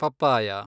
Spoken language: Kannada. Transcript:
ಪಪ್ಪಾಯ